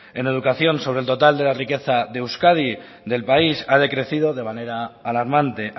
en educación sobre el total de la riqueza de euskadi del país ha decrecido de manera alarmante